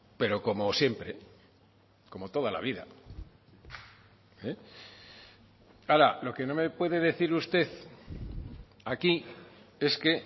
pero como siempre como toda la vida ahora lo que no me puede decir usted aquí es que